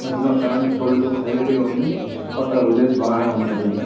మధ్యలో current pole లు highlight గా ఉంది. చుట్టూ పక్కల విల్లెజ్ బానే ఉన్నట్టుగా ఉంది.